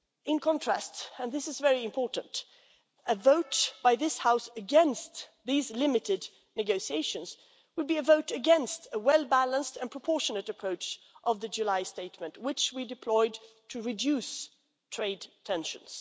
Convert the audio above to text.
In contrast, and this is important, a vote by this House against these limited negotiations would be a vote against the well balanced and proportionate approach of the July statement, which we deployed to reduce trade tensions.